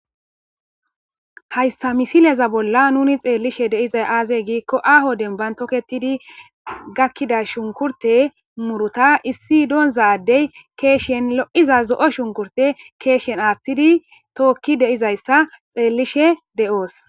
haysta misiliyaza bolla nuni xeellishe deizay aazey giikko aho demban toketidi gakkida shunkurte muruta issi doonzadey keeshen lo7iza zo7o shunkurte keeshen aaththidi tookki deizayssa xeellishe de7oos